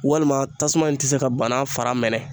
Walima tasuma in ti se ka banan fara mɛnɛ